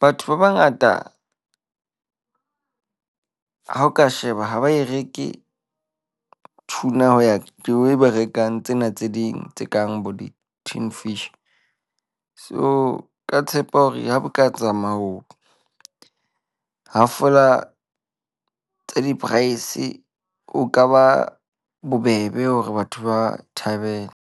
Batho ba bangata ha o ka sheba ha ba e reke tuna ho ya the way ba rekang tsena tse ding tse kang bo di-tin fish. So ka tshepa hore ha bo ka hafola tsa di-price. Ho ka ba bobebe hore batho ba thabele.